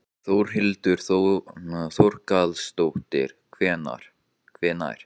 Þórhildur Þorkelsdóttir: Hvenær?